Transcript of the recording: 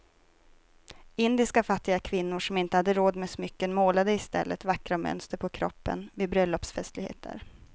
Indiska fattiga kvinnor som inte hade råd med smycken målade i stället vackra mönster på kroppen vid bröllopsfestligheter.